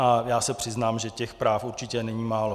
A já se přiznám, že těch práv určitě není málo.